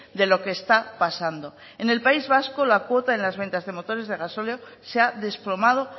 de lo que está pasando en el país vasco la cuota en las ventas de motores de gasóleo se ha desplomado